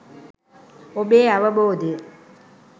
ඔබේ අවබෝදය.